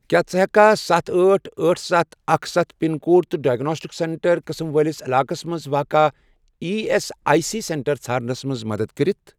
کیٛاہ ژٕ ہیٚککھا ستَھ، أٹھ، أٹھ، ستَھ، اکھ، سَتھ، پَن کوڈ تہٕ ڈایگناسٹِکس سیٚنٛٹر سینٹر قٕسم وٲلِس علاقس مَنٛز واقع E S I C centre ژھارنَس مَنٛز مدد کٔرِتھ؟